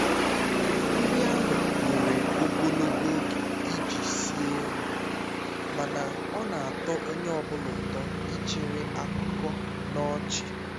nri ahụ were ogologo oge iji sie nri mana ọ na-atọ onye ọ bụla ụtọ ichere akụkọ na ọchị